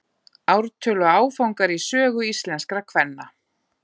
Ártöl og áfangar í sögu íslenskra kvenna.